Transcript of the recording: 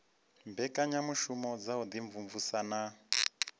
mbekanyamushumo dza u imvumvusa na